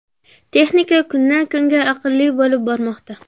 Texnika kundan kunga aqlli bo‘lib bormoqda.